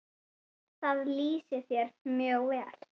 Það lýsir þér mjög vel.